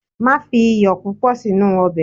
Má fi iyọ̀ púpọ̀ sínú ọbẹ̀.